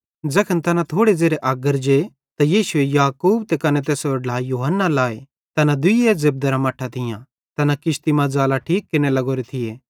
ज़ैखन तैना थोड़े ज़ेरे अग्गर जे यीशुए याकूब त कने तैसेरो ढ्ला यूहन्ना लाए तैना दुइये जेब्देरां मट्ठां थियां तैना किश्ती मां जालां ठीक केरने लग्गोरे थिए